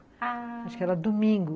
Ah... Acho que era domingo.